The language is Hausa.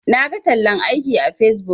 Naga tallan aiki a facebook.